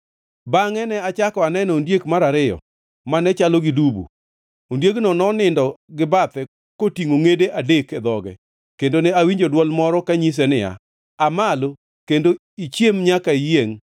“Bangʼe ne achako aneno ondiek mar ariyo, mane chalo gi dubu. Ondiegino nonindo gibathe kotingʼo ngʼede adek e dhoge kendo ne awinjo dwol moro kanyise ni, ‘Aa malo kendo ichiem nyaka iyiengʼ!’